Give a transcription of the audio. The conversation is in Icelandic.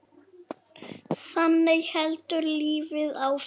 Þannig heldur lífið áfram.